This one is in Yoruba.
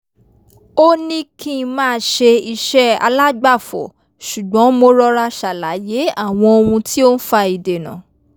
ó ní kí n máa ṣe iṣẹ́ alágbàfọ̀ ṣùgbọ́n mo rọra ṣàlàyé àwọn ohun tí ó n fa ìdènà